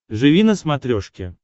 живи на смотрешке